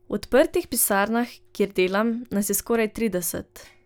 V odprtih pisarnah, kjer delam, nas je skoraj trideset.